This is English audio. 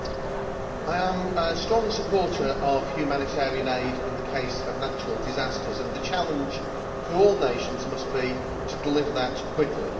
Mr President, I am a strong supporter of humanitarian aid in the case of natural disasters, and the challenge for all nations must be to deliver that quickly.